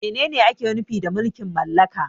Menene ake nufi da mulkin mallaka?